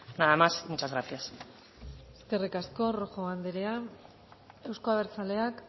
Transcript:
nada más muchas gracias eskerrik asko rojo anderea euzko abertzaleak